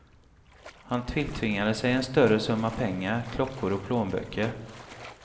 Han tilltvingade sig en större summa pengar, klockor och plånböcker.